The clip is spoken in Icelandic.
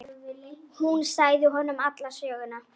Hún sagði honum alla söguna.